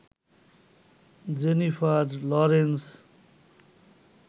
Jennifer Lawrence